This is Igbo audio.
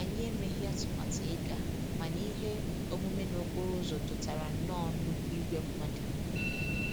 Anyị emeghị atụmatụ ịga, mana ihe omume n'okporo ụzọ dọtara nnọọ nnukwu ìgwè mmadụ